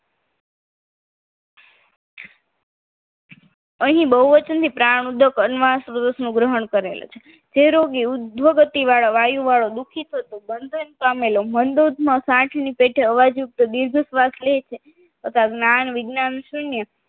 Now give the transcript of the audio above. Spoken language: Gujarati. અહીં બહુવચન થી પ્રાણ ઉદગમ ગ્રહણ કરેલ છે જે રોગો ઉદ્ભગતિ વાયુ વાળો દુઃખી થતો બંધન પામેલો મંદોદમાં છાતીમાં ના પેઠે અવાજ યુક્ત દીર્ઘ શ્વાસ લે છે તથા જ્ઞાન વિજ્ઞાન શૂન્ય